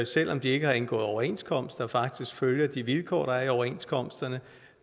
selv om de ikke har indgået overenskomst og faktisk følger de vilkår der er i overenskomsterne